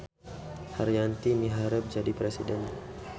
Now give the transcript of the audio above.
Haryanti miharep jadi presiden